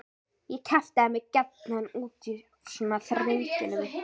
Ég kjaftaði mig gjarnan út úr svona þrengingum.